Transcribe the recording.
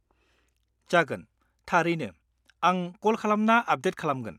-जागोन, थारैनो, आं कल खालामना आपदेट खालामगोन।